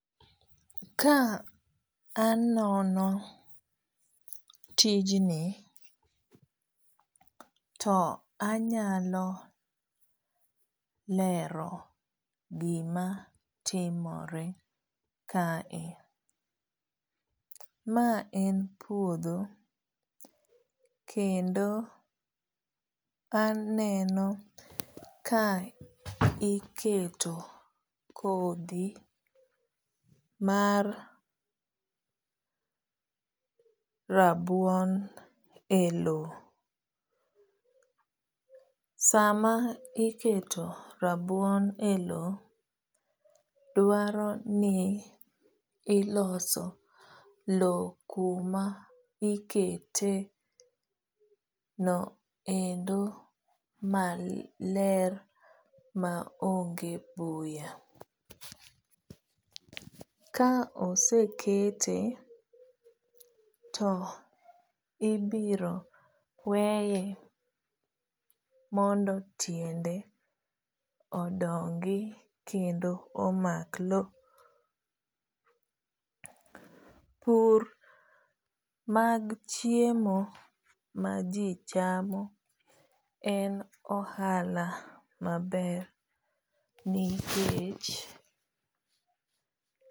Kanono tijni to anyalo lero gimatimore kae. maen puodho kendo aneno ka iketo kodhi mar rabuon e loo. sama iketo rabuon e loo dwaro ni iloso loo kama iketo no endo maler maonge buya . ka osekete to ibiro weye mondo tiende odongi kendo omak loo. pur mag chiemo maji chamo en ohala maber nikech